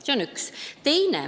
See on üks asi.